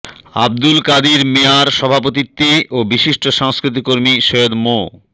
আবদুল কাদির মিয়ার সভাপতিত্বে ও বিশিষ্ট সংস্কৃতিকর্মী সৈয়দ মো